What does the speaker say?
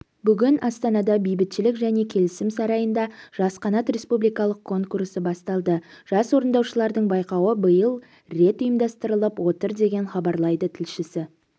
бүгін астанада бейбітшілік және келісім сарайында жас қанат республикалық конкурсы басталды жас орындаушылардың байқауы биыл рет ұйымдастырылып отыр деп хабарлайды тілшісі